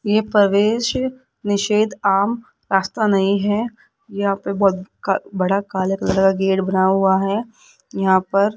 ये प्रवेश निषेध आम रास्ता नहीं है यहां पे बहोत का बड़ा काले कलर का गेट बना हुआ है यहां पर --